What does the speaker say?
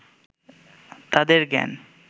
তাঁদের জ্ঞান